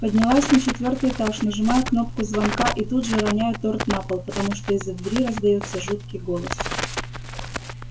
поднялась на четвёртый этаж нажимаю кнопку звонка и тут же роняю торт на пол потому что из-за двери раздаётся жуткий голос